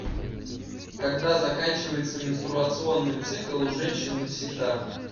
когда заканчивается менструационный цикл у женщин навсегда